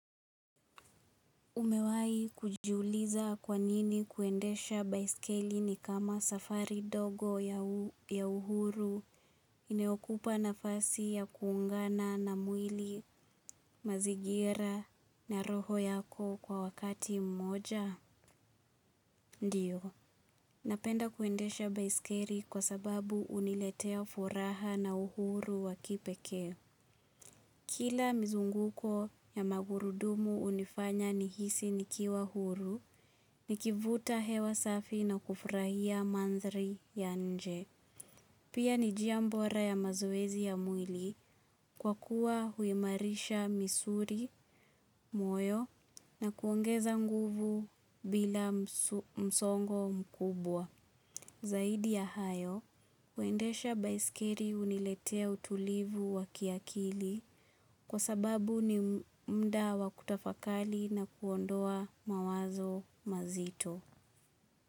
Umewahi kujiuliza kwanini kuendesha baiskeli ni kama safari ndogo ya uhuru inayokupa nafasi ya kuungana na mwili, mazingira na roho yako kwa wakati mmoja? Ndiyo, napenda kuendesha baiskeli kwa sababu huniletea furaha na uhuru wa kipekee. Kila mizunguko ya magurudumu hunifanya nihisi nikiwa huru, nikivuta hewa safi na kufurahia mandhari ya nje. Pia ni njia bora ya mazoezi ya mwili kwa kuwa huimarisha misuli, moyo na kuongeza nguvu bila msongo mkubwa. Zaidi ya hayo, kuendesha baiskeli huniletea utulivu wa kiakili kwa sababu ni muda wa kutafakari na kuondoa mawazo mazito.